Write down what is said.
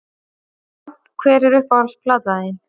Já Hver er uppáhalds platan þín?